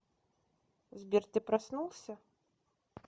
сбер ты проснулся